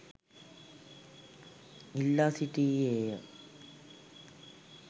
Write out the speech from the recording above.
ඉල්ලා සිටියේය